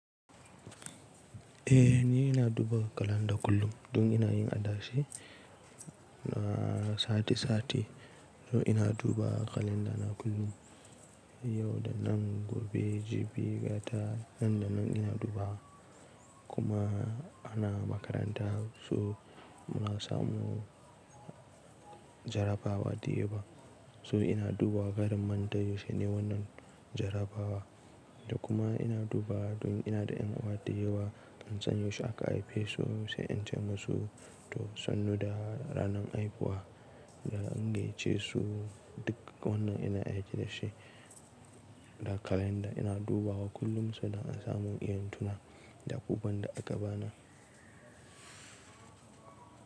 Eh ni ina duba kalanda kullum, dun ina yin adashe na sati sati, to ina duba kalendana kullum, yau da nan, gobe, jibi, gata, nan da nan ina duba kuma ana makaranta so muna samu jarabawa diyewa. So ina duba karin mantai yaushe ne wannan jarabawa da kuma ina duba dun ina da yan'uwa diyewa ban sanya yaushe aka haife su sai in ce musu to sannu da ranan haihuwa da an gayyace su duk wannan ina aiki da shi da kalanda ina dubawa kullum sanda an samu iyan tuna da kuban da aka bani.